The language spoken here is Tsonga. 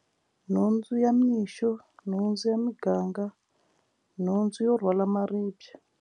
Nhundzu ya mixo nhundzu ya muganga nhundzu yo rhwala maribye.